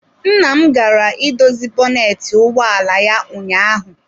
Nna m gara idozi bọnetị ụgbọ ala ya ụnyaahụ.